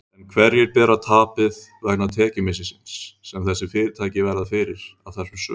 En hverjir bera tapið vegna tekjumissisins sem þessi fyrirtæki verða fyrir af þessum sökum?